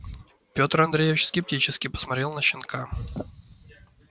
петр андреевич скептически посмотрел на щенка